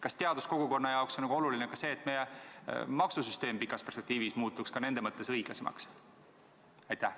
Kas teaduskogukonna jaoks on oluline ka see, et meie maksusüsteem pikas perspektiivis muutuks nende suhtes õiglasemaks?